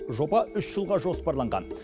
жоба үш жылға жоспарланған